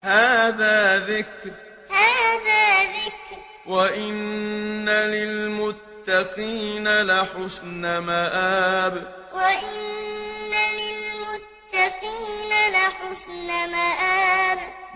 هَٰذَا ذِكْرٌ ۚ وَإِنَّ لِلْمُتَّقِينَ لَحُسْنَ مَآبٍ هَٰذَا ذِكْرٌ ۚ وَإِنَّ لِلْمُتَّقِينَ لَحُسْنَ مَآبٍ